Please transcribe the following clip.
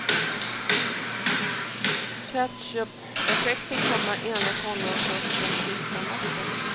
Ketchupeffekten kommer enligt honom först den sista natten.